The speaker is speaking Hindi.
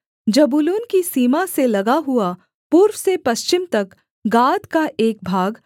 जबूलून की सीमा से लगा हुआ पूर्व से पश्चिम तक गाद का एक भाग